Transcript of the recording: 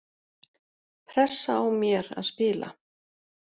Pressa á mér að spila